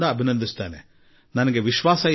ನೀವು ಅಭಿನಂದನೆಗೆ ಪಾತ್ರರು